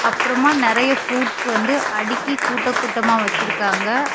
அப்ரோமா நிறைய ஃப்ரூட்ஸ் வந்து அடுக்கி கூட்ட கூட்டமா வச்சிருக்காங்க.